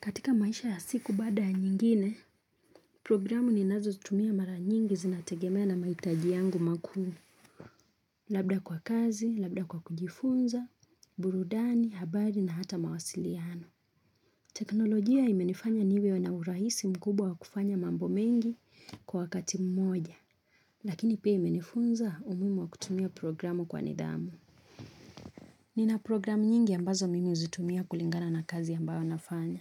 Katika maisha ya siku baada ya nyingine, programu ninazo zitumia mara nyingi zinategemea na mahitaji yangu makuu. Labda kwa kazi, labda kwa kujifunza, burudani, habari na hata mawasiliano. Teknolojia imenifanya niwe naurahisi mkubwa wa kufanya mambo mengi kwa wakati mmoja. Lakini pia imenifunza umuhimu wa kutumia programu kwa nidhamu. Nina programu nyingi ambazo mimi huzitumia kulingana na kazi ambayo ninafanya.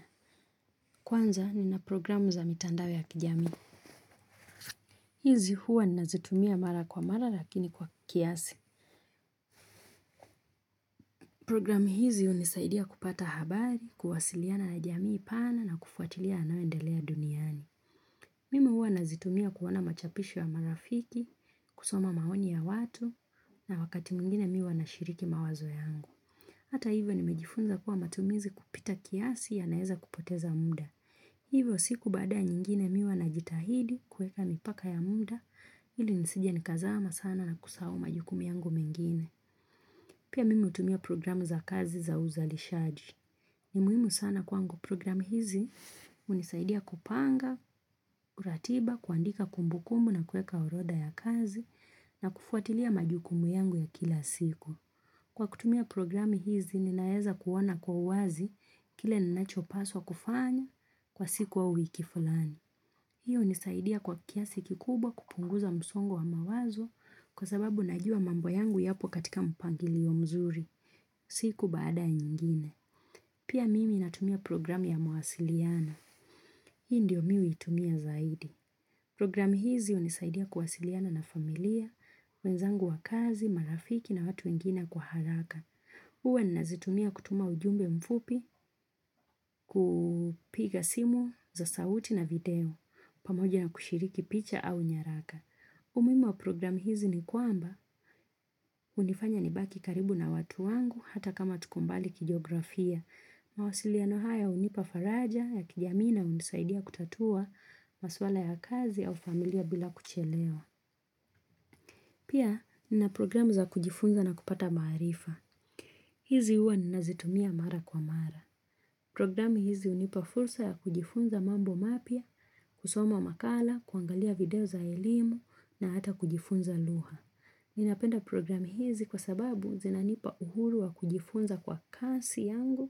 Kwanza nina programu za mitandao ya kijamii. Hizi huwa ninazitumia mara kwa mara lakini kwa kiasi. Programu hizi hunisaidia kupata habari, kuwasiliana na jamii pana na kufuatilia yanayoendelea duniani. Mimi huwa nazitumia kuona machapisho wa marafiki, kusoma maoni ya watu na wakati mwingine mimi huwa na shiriki mawazo yangu. Hata hivyo nimejifunza kuwa matumizi kupita kiasi yanaweza kupoteza muda. Hivyo siku baada nyingine mimi huwa na jitahidi kuweka mipaka ya muda ili nisije nikazama sana na kusahau majukumu yangu mengine. Pia mimi hutumia programu za kazi za uzalishaji. Ni muhimu sana kwangu programu hizi hunisaidia kupanga, uratiba, kuandika kumbu kumbu na kuweka urodha ya kazi na kufuatilia majukumu yangu ya kila siku. Kwa kutumia programu hizi, ninaweza kuoana kwa wazi kile ninachopaswa kufanya kwa siku au wiki falani. Hiyo hunisaidia kwa kiasi kikubwa kupunguza msongo wa mawazo kwa sababu najua mambo yangu yapo katika mpangilio mzuri. Siku baada ya nyingine. Pia mimi natumia programu ya mawasiliano. Hii ndiyo mimi hutumia zaidi. Programu hizi hunisaidia kuwasiliana na familia, wenzangu wa kazi, marafiki na watu wengine kwa haraka. lHuwa ninazitumia kutuma ujumbe mfupi, kupiga simu za sauti na video pamoja na kushiriki picha au nyaraka. Umuhimu wa programu hizi ni kwamba hunifanya nibaki karibu na watu wangu hata kama tukombali kijeografia. Mawasiliano haya hunipa faraja ya kijamii na hunisaidia kutatua maswala ya kazi au familia bila kuchelewa. Pia nina programu za kujifunza na kupata maarifa. Hizi huwa ninazitumia mara kwa mara. Programu hizi hunipa fursa ya kujifunza mambo mapya, kusoma wa makala, kuangalia video za elimu na hata kujifunza lugha. Ninapenda programu hizi kwa sababu zinanipa uhuru wa kujifunza kwa kasi yangu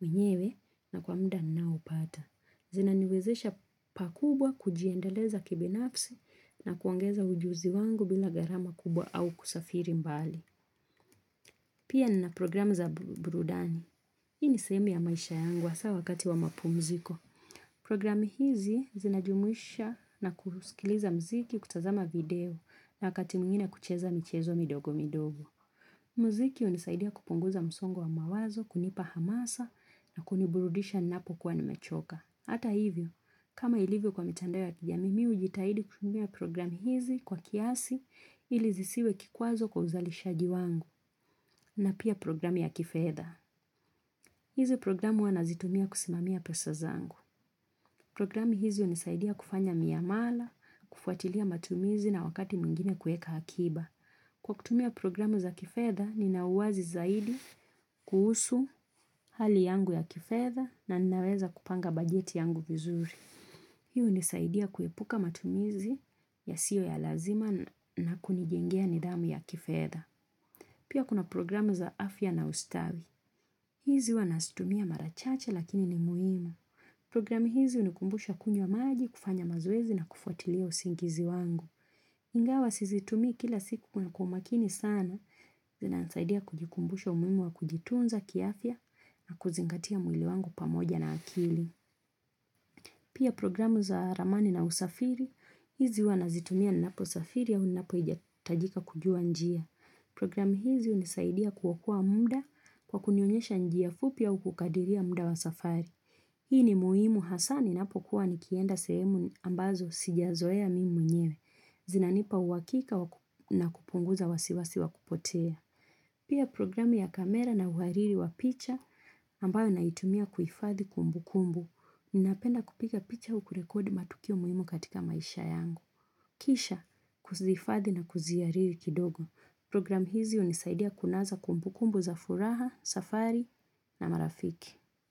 mwenyewe na kwa muda ninaopata. Zinaniwezesha pakubwa kujiendeleza kibinafsi na kuongeza ujuzi wangu bila gharama kubwa au kusafiri mbali. Pia nina programu za burudani, hii ni sehemu ya maisha yangu hasa wakati wa mapumziko. Programu hizi zinajumisha na kuskiliza mziki kutazama video na wakati mwingine kucheza michezo midogo midogo. Mziki hunisaidia kupunguza msongo wa mawazo, kunipa hamasa na kuniburudisha ninapo kuwa nimechoka. Hata hivyo, kama ilivyo kwa mitandao ya kijamii mimi hujitahidi kutumia programu hizi kwa kiasi ili zisiwe kikwazo kwa uzalishaji wangu. Na pia programu ya kifedha. Hizi programu wanazitumia kusimamia pesa zangu. Programu hizi hunisaidia kufanya miamala, kufuatilia matumizi na wakati mwingine kuweka akiba. Kwa kutumia programu za kifedha, ninauwazi zaidi kuhusu hali yangu ya kifedha na ninaweza kupanga bajeti yangu vizuri. Hii hunisaidia kuepuka matumizi ya siyo ya lazima na kunijengea nidhamu ya kifedha. Pia kuna programu za afya na ustawi. Hizi huwa nazitumia mara chache lakini ni muhimu. Programu hizi hunikumbusha kunywa maji kufanya mazoezi na kufuatilia usingizi wangu. Ingawa sizitumii kila siku kwa umakini sana. Zinanisaidia kujikumbusha umuhimu wa kujitunza kiafya na kuzingatia mwili wangu pamoja na akili. Pia programu za ramani na usafiri, hizi huwa nazitumia ninapo safiri ya unapo hijatajika kujua njia. Programu hizi hunisaidia kuokoa muda kwa kunionyesha njia fupi au kukadiria muda wa safari. Hii ni muhimu hasa ninapo kuwa nikienda sehemu ambazo sijazoea mimi nyewe. Zinanipa uhakika na kupunguza wasiwasi wakupotea. Pia programu ya kamera na uhariri wa picha ambayo naitumia kuifadhi kumbu kumbu. Ninapenda kupika picha ukurekodi matukio muhimu katika maisha yangu. Kisha kuzihifadhi na kuzihariri kidogo. Programu hizi hunisaidia kunaza kumbukumbu za furaha, safari na marafiki.